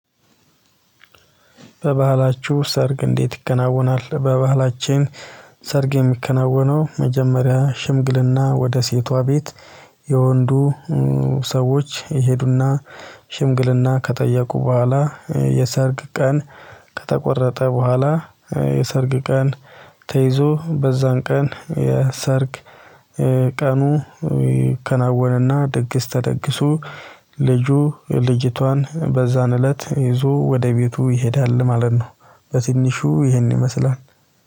በባህላችሁ ሰርግ እንዴት ይከናወናል? በባህላችን ሰርግ የሚከናወነው መጀመሪያ ሽምግልና ወደ ሴቷ ቤት የወንዱ ሰዎች ይሄዱና ሽምግልና ከጠየቁ በኋላ። የሰርግ ቀን ከተቆረጠ በኋላ። የሰርግ ቀን ተይዞ በዛን ቀን የሰርግ ቀኑ ከናወነና ደግስ ተደግሶ ልጁ ልጅቷን በዛን እለት ይዞ ወደ ቤቱ ይሄዳል ማለት ነው። በትንሹ ይሄን ይመስላል